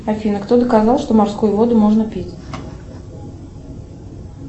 афина кто доказал что морскую воду можно пить